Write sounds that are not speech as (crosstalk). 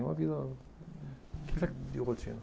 Não havia (unintelligible) de rotina